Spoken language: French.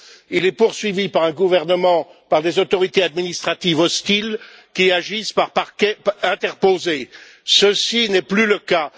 il est poursuivi par un gouvernement ou par des autorités administratives hostiles qui agissent par parquets interposés. Ceci n'est plus le cas.